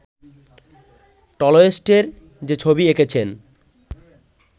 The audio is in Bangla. টলস্টয়ের যে ছবি এঁকেছেন